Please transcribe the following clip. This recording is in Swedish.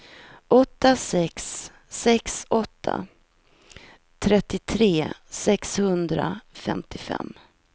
åtta sex sex åtta trettiotre sexhundrafemtiofem